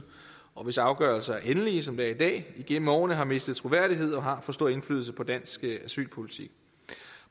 og hvis afgørelser er endelige som det er i dag igennem årene har mistet troværdighed og har for stor indflydelse på dansk asylpolitik